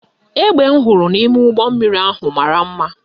Egbe m hụrụ n' ime ụgbọmmiri ahụ mara mma